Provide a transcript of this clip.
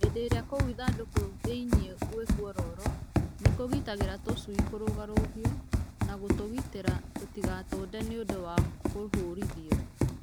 Hĩndĩ ĩrĩa kũu ithandũkũ thĩinĩ gwĩ kwororo nĩkũgiragĩrĩria tũcui kũrũgarũgio na ũgatũgitĩra tũtigatũnde nĩũndũ wa kũhũrithio.